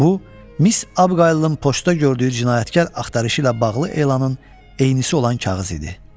Bu Miss Abqaylın poçta gördüyü cinayətkar axtarışı ilə bağlı elanın eynisi olan kağız idi.